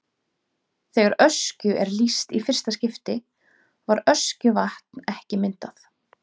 Þegar Öskju er lýst í fyrsta skipti var Öskjuvatn ekki myndað.